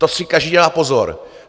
To si každý dá pozor.